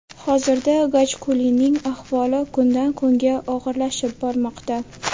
Hozirda Gajkulining ahvoli kundan kunga og‘irlashib bormoqda.